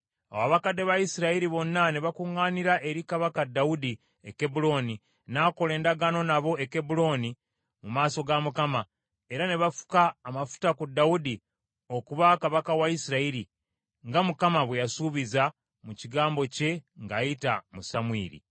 Awo abakadde ba Isirayiri bonna ne bakuŋŋaanira eri Kabaka Dawudi e Kebbulooni, n’akola endagaano nabo e Kebbulooni mu maaso ga Mukama , era ne bafuka amafuta ku Dawudi okuba kabaka wa Isirayiri, nga Mukama bwe yasuubiza mu kigambo kye ng’ayita mu Samwiri.